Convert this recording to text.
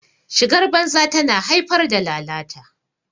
shigar banza tana haifar da lalata